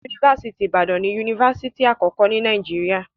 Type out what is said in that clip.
Yunifásítì Ìbàdàn ni yunifásítì àkọ́kọ́ ní Nàìjíríà.